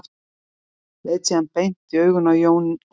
Leit síðan beint í augun á Jón Ólafi.